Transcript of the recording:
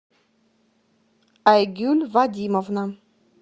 айгюль вадимовна